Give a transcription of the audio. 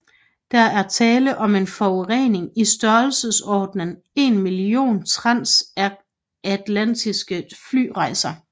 Der er tale om en forurening i størrelsesorden en million transatlantiske flyrejser